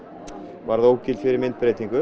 varð ógild fyrir